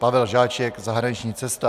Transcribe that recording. Pavel Žáček - zahraniční cesta.